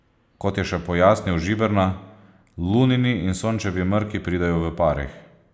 Kot je še pojasnil Žiberna, Lunini in Sončevi mrki pridejo v parih.